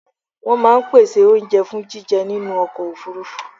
Wọ́n máa ń pèsè oúnjẹ fún jíjẹ nínú ọkọ̀ òfurufú.